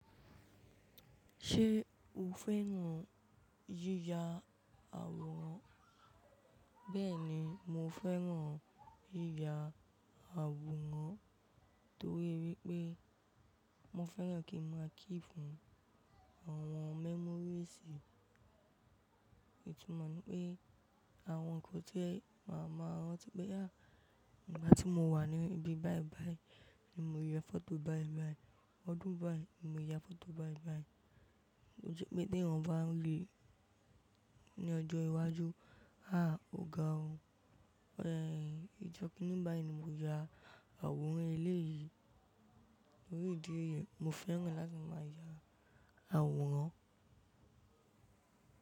Ṣé o fẹ́ràn yíya àwòrán? Bẹ́ẹ̀ni, mo fẹ́ràn yíya àwòrán torí wipé mo fẹ́ràn kí n máa keep àwọn memories, itùmó ní pé àwọn nǹkan tí máa máa rántí pé há! Ìgbà tí mo wà ní ibi báìbàí ni mo ya foto báìbàí, ọdún báí ni mo ya foto báìbàí. Ó jẹ́ pé t'eyan bá ń ri ní ọjọ́ iwájú, há òga o, ọ̀ẹ́ ìjọ́ kinní báyí ni mo ya àwòrán eléyìí, tori idi èyí, mo fẹ́ràn láti máa ya àwòrán.